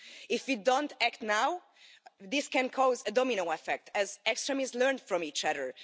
If we don't act now this can cause a domino effect, as extremists learn from each other.